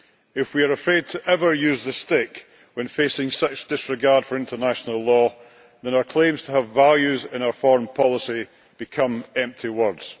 If we are afraid to use the stick when facing such disregard for international law, then our claims to have values in our foreign policy become empty words.